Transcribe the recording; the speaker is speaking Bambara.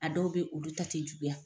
A dɔw be ye olu ta te juguya